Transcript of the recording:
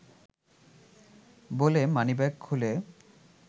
বলে মানিব্যাগ খুলে